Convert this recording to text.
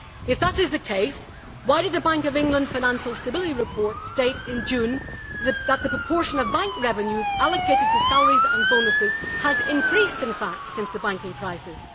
If that is the case, why did the Bank of England financial stability report state in June that the proportion of bank revenues allocated to salaries and bonuses has, in fact, increased since the banking crisis?